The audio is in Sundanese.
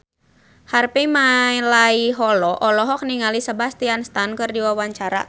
Harvey Malaiholo olohok ningali Sebastian Stan keur diwawancara